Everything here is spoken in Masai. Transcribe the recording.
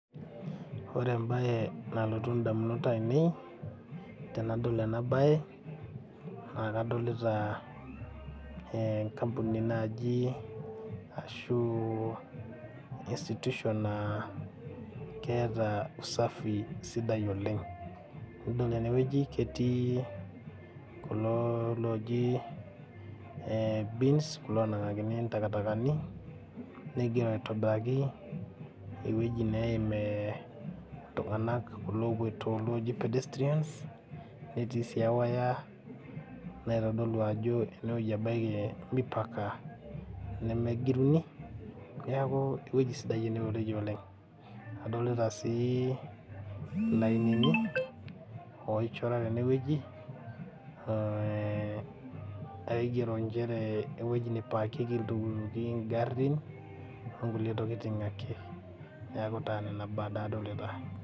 Ore embae nalotu indamunot ainei tenadol enabae naa kadolita enkampuni naji ashu institution naa keeta usafi sidai oleng , nadol tenewueji ketii kulo tokitin oji bins kulo onanagakini ntakatakani negira aitobiraki enewueji neimiltunganak kulo opoito kulo oji pedestrians netii si ewaya naitodolu ajo enewueji ebaiki mipaka nemejingi niaku ewueji sidai oleng enewueji, adolita sii ilainini oichora tenewueji, oigero nchere ewueji nipakieki iltukituki ingarin ,onkulie tokitin ake niaku nena baa adolita.